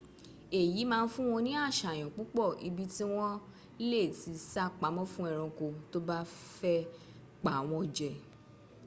eyi ma n fun won ni asayan pupo ibi ti won le ti sa pamo fun eranko to fe pa won je